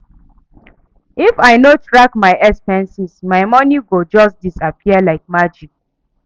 If I no track my expenses, my money go just disappear like magic.